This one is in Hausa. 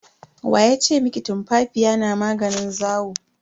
Wa ya ce miki tumfafiya na maganin zawo?